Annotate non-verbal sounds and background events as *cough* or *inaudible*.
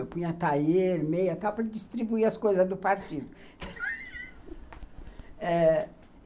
Eu punha taier, meia, para distribuir as coisas do *laughs* partido.